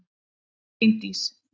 Sveindís